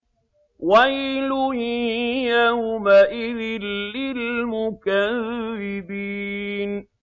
وَيْلٌ يَوْمَئِذٍ لِّلْمُكَذِّبِينَ